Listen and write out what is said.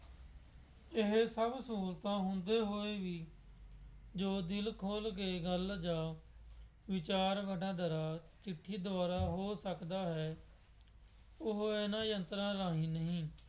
ਇਹ ਸਭ ਸਹੂਲਤਾਂ ਹੁੰਦੇ ਹੋਏ ਵੀ ਜੋ ਦਿਲ ਖੋਲ ਕੇ ਗੱਲ ਜਾਂ ਵਿਚਾਰ ਵਟਾਂਦਰਾ ਚਿੱਠੀ ਦੁਆਰਾ ਹੋ ਸਕਦਾ ਹੈ ਉਹਨਾ ਇਹਨਾ ਯੰਤਰਾਂ ਰਾਹੀਂ ਨਹੀਂ।